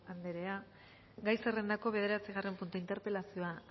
anderea gai zerrendako bederatzigarren puntua interpelazioa